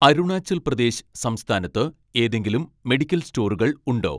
അരുണാചൽ പ്രദേശ് സംസ്ഥാനത്ത് ഏതെങ്കിലും മെഡിക്കൽ സ്റ്റോറുകൾ ഉണ്ടോ